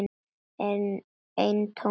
Eintómt rugl.